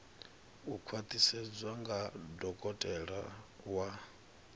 u khwaṱhisedzwa nga dokotela wa